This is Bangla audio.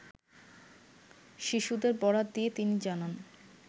শিশুদের বরাত দিয়ে তিনি জানান